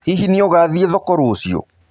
Hihi nĩũgathĩe thoko rũcĩũ?